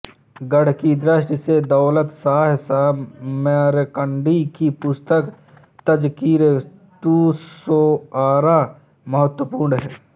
गद्य की दृष्टि से दौलतशाह समरकंदी की पुस्तक तज़किरतुश्शोअरा महत्वपूर्ण है